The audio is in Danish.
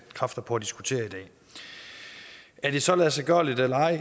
kræfter på at diskutere i dag er det så ladsiggørligt eller ej